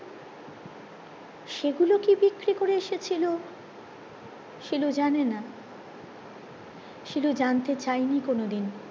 সেই গুলো কি বিক্রি করে এসেছিলো শিলু জানে না শিলু জানতে চাইনি কোনো দিন